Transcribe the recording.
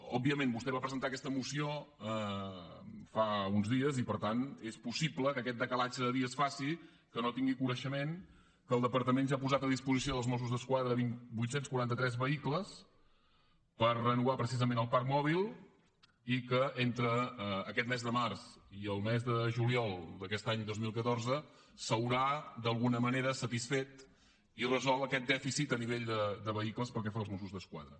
òbviament vostè va presentar aquesta moció fa uns dies i per tant és possible que aquest decalatge de dies faci que no tingui coneixement que el departament ja ha posat a disposició dels mossos d’esquadra vuit cents i quaranta tres vehicles per renovar precisament el parc mòbil i que entre aquest mes de març i el mes de juliol d’aquest any dos mil catorze s’haurà d’alguna manera satisfet i resolt aquest dèficit a nivell de vehicles pel que fa als mossos d’esquadra